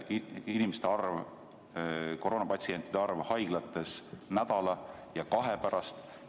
Milline on koroonapatsientide arv haiglates nädala-kahe pärast?